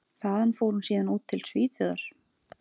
Þaðan fór hún síðan út til Svíþjóðar.